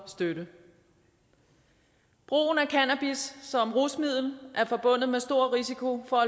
støtte brugen af cannabis som rusmiddel er forbundet med stor risiko for